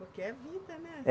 Porque é vida, né? É